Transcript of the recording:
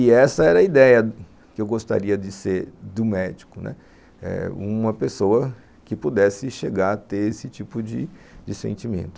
E essa era a ideia que eu gostaria de ser do médico, né, uma pessoa que pudesse chegar a ter esse tipo de sentimento.